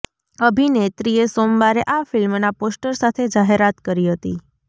અભિનેત્રીએ સોમવારે આ ફિલ્મના પોસ્ટર સાથે જાહેરાત કરી હતી